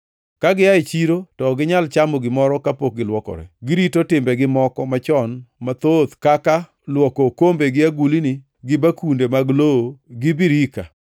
Ka gia e chiro to ok ginyal chamo gimoro kapok gilwokore. Girito timbegi moko machon mathoth: kaka luoko okombe gi agulni, gi bakunde mag lowo gi birike.